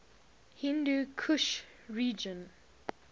hindu kush region